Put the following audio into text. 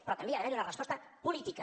però també ha d’haver hi una resposta política